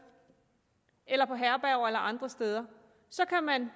eller på herberger eller andre steder så kan man